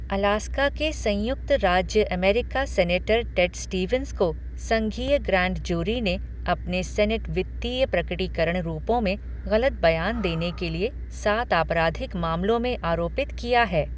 Alaska के संयुक्त राज्य अमेरिका सीनेटर टेड स्टीवंस को संघीय ग्रैंड जूरी ने अपने सीनेट वित्तीय प्रकटीकरण रूपों में गलत बयान देने के लिए सात आपराधिक मामलों में आरोपित किया है।